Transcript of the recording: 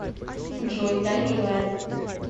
джой да милая